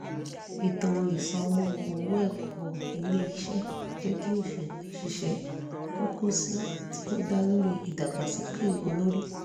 ètò ìsanwó owó ẹ̀kọ́ ilé-iṣẹ́ jẹ́ kí òṣìṣẹ́ kọ́ kóọ̀sì tí ó dá lórí ìdàgbàsókè olórí